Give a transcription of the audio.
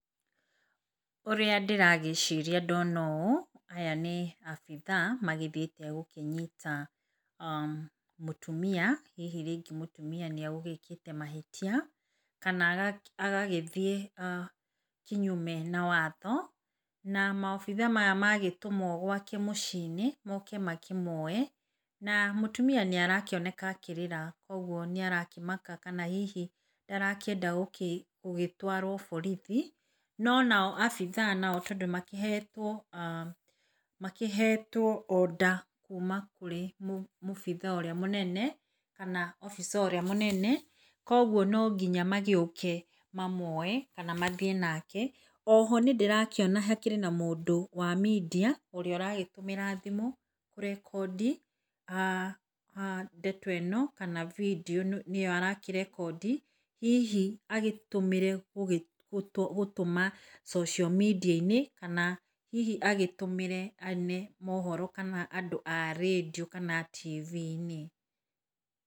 Ũrĩa ndĩragĩciria ndona ũ aya nĩ abitha magĩthiĩte gũkĩnyita [ah]mũtumia. Hihi rĩngĩ mũtũmia nĩagũgĩkĩte mahĩtia kana agagĩthiĩ kĩnyume na watho na ma obitha maya magatũmwo gwake mũciĩ -inĩ moke makĩmoe na mũtumia nĩarakĩoneka akĩrĩra koguo nĩ arakĩmaka kana hihi ndarakĩenda gũgĩtwaro borithi. No ona obitha nao tondũ makĩhetwo ah makĩhetwo order kuma kũrĩ mũbitha ũrĩa mũnene kana obica ũrĩa mũnene koguo nonginya magĩũke mamuoe kana mathiĩ nake. Oho nĩndĩrakĩona hakĩrĩ na mũndũ wa media ũrĩa ũragĩtũmĩra thimu kũrekondi ah ndeto ĩno kana video nĩo arakĩrekondi hihi agĩtũmĩre gũtũma social media kana hihi agĩtũmĩre mohoro kana andũ arendio kana a tivii-inĩ.